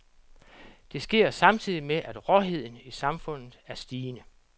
Det sker samtidig med, at råheden i samfundet er stigende.